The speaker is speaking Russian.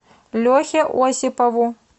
лехе осипову